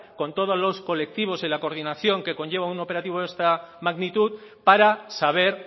con todos los colectivos y la coordinación que conlleva un operativo de esta magnitud para saber